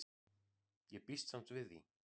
Ég býst samt við því.